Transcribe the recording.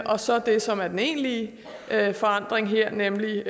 og så det som er den egentlige forandring her nemlig